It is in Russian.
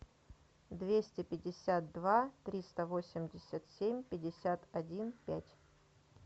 двести пятьдесят два триста восемьдесят семь пятьдесят один пять